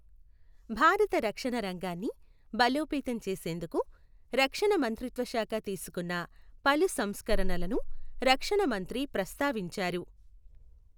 భారత రక్షణ రంగాన్ని బలోపేతం చేసేందుకు రక్షణ మంత్రిత్వశాఖ తీసుకున్న పలు సంస్కరణలను రక్షణ మంత్రి ప్రస్తావించారు.